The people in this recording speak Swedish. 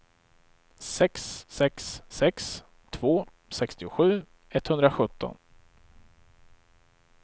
sex sex sex två sextiosju etthundrasjutton